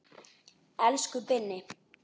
Elsku Binni.